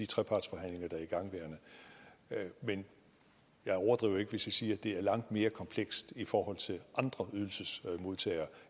trepartsforhandlinger men jeg overdriver ikke hvis jeg siger at det er langt mere komplekst i forhold til andre ydelsesmodtagere